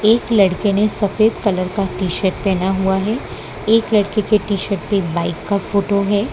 एक लड़के ने सफेद कलर का टी शर्ट पहना हुआ है एक लड़के कि टी शर्ट पे बाइक का फोटो है।